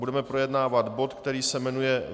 Budeme projednávat bod, který se jmenuje